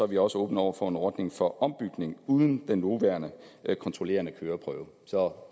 vi også åbne over for en ordning for ombytning uden den nuværende kontrollerende køreprøve så